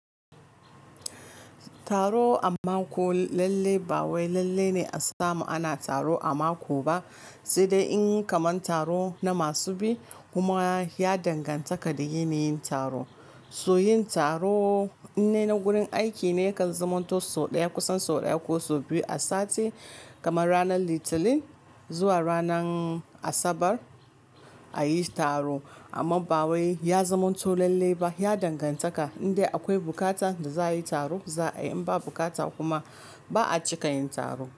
Taro a mako lalle ba wai lalle ne a sama ana taro a mako ba, sai dai in yi kamar taro na masu biyu kuma ya danganta da yini yin taro. So yin taro ne na gurin aiki ne kan zaman to so ɗaya kusan so ɗaya ko so biyu a sati kamar ranar litinin zuwa ranar asabar a yi taro amma ba wai ya zama to lalle ba ya danganta. Indai akwai buƙata da za a yi taro za a yi in ba bukata kuma ba'a cika yin taro.